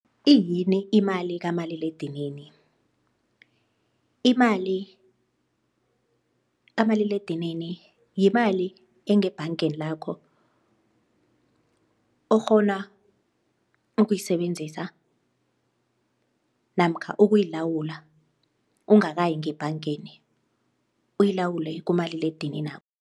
Iyini imali kamaliledinini? Imali kamaliledinini yimali engebhangeni lakho okghona ukuyisebenzisa namkha ukuyilawula ungakayi ngebhangeni uyilawule kumaliledininakho